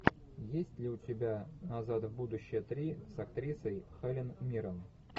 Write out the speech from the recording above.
есть ли у тебя назад в будущее три с актрисой хелен миррен